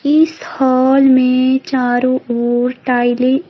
इस हॉल में चारों ओर टाइलें --